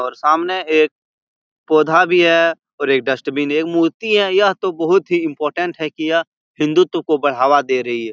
और सामने एक पौधा भी है और एक डस्टबिन एक मूर्ति है यह तो बहुत ही इम्पोर्टेन्ट है की यह हिंदुत को बढावा दे रही है।